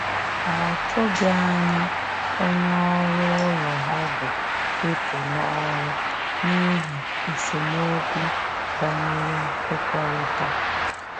Ọ tụghi anya onye ọrụ ụlọ ọgwụ ịpụ n'ọrụ n'ihi esemeokwu banyere nwekorita.